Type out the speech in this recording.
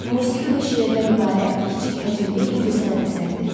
Musiqi və şeirdən ibarət kiçik həcmli incəsənət əsəridir.